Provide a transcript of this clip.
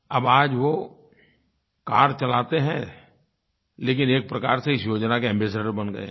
अब आज वो कार चलाते हैं लेकिन एक प्रकार से इस योजना के एम्बासाडोर बन गये हैं